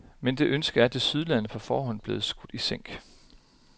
Men det ønske er tilsyneladende på forhånd blevet skudt i sænk.